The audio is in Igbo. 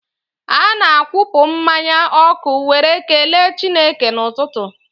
Ana-akwụpụ mmanya ọkụ were kelee Chineke n'ụtụtụ.